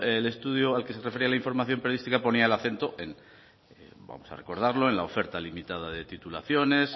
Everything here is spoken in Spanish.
el estudio al que se refería la información periodística ponía el acento vamos a recordarlo en la oferta limitada de titulaciones